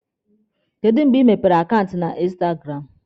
Kedụ mgbe ị mepere akaụntụ na instagramụ?